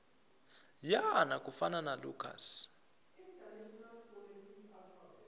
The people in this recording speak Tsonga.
yena ku fana na lucas